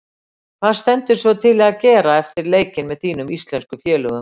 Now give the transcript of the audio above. Hvað stendur svo til að gera eftir leikinn með þínum íslensku félögum?